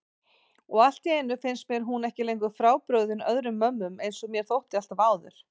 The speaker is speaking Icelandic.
Og alltíeinu finnst mér hún ekki lengur frábrugðin öðrum mömmum einsog mér þótti alltaf áður.